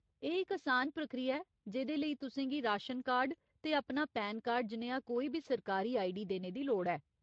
एह् इक असान प्र्किया ऐ जेह्दे लेई तुसें गी राशन कार्ड ते अपना पैन कार्ड जनेहा कोई बी सरकारी आईडी देने दी लोड़ ऐ।